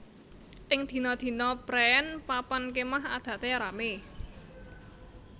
Ing dina dina préén papan kémah adate ramé